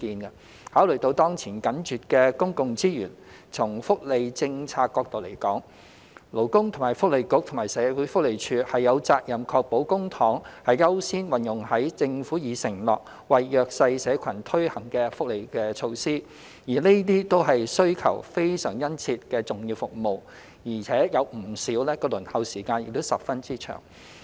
考慮到當前緊絀的公共資源，從福利政策角度而言，勞工及福利局和社會福利署有責任確保公帑優先運用於政府已承諾為弱勢社群推行的福利措施，而這些都是需求非常殷切的重要服務，而且不少的輪候時間亦十分長。